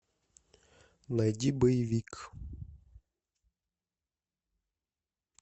найди боевик